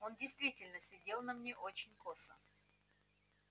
он действительно сидел на мне очень косо